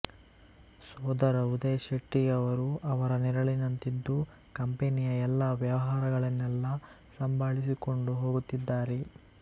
ಸೋದರ ಉದಯ್ ಶೆಟ್ಟಿಯವರು ಅವರ ನೆರಳಿನಂತಿದ್ದು ಕಂಪೆನಿಯ ಎಲ್ಲಾ ವ್ಯವಹಾರಗಳನ್ನೆಲ್ಲಾ ಸಂಭಾಳಿಸಿಕೊಂಡು ಹೋಗುತ್ತಿದ್ದಾರೆ